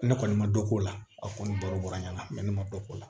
Ne kɔni ma dɔ k'o la a kɔni baro bɔra ɲɛna ne ma dɔ k'o la